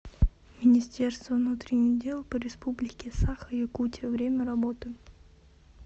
министерство внутренних дел по республике саха якутия время работы